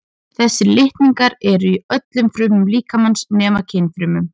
þessir litningar eru í öllum frumum líkamans nema kynfrumunum